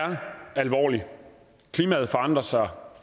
er alvorlig klimaet forandrer sig og